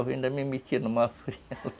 Ainda me metia numa fria lá